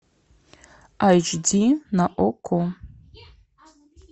айч ди на окко